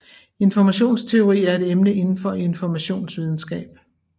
Informationsteori er et emne inden for informationsvidenskab